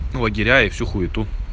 лагеря и всю хуету